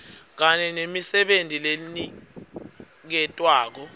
kanye nemisebenti leniketwako